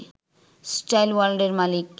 style ওয়ার্ল্ডের মালিক